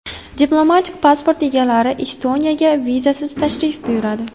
Diplomatik pasport egalari Estoniyaga vizasiz tashrif buyuradi.